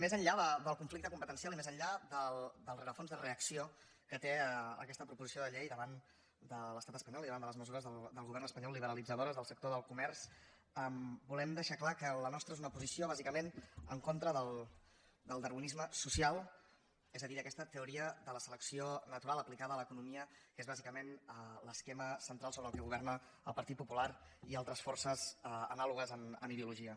més enllà del conflicte competencial i més enllà del rerefons de reacció que té aquesta proposició de llei davant de l’estat espanyol i davant de les mesures del govern espanyol liberalitzadores del sector del comerç volem deixar clar que la nostra és una posició bàsicament en contra del darwinisme social és a dir d’aquesta teoria de la selecció natural aplicada a l’economia que és bàsicament l’esquema central sobre el qual governa el partit popular i altres forces anàlogues en ideologia